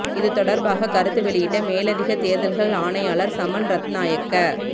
இது தொடர்பாக கருத்து வெளியிட்ட மேலதிக தேர்தல்கள் ஆணையாளர் சமன் ரத்நாயக்க